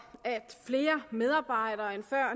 at flere medarbejdere end før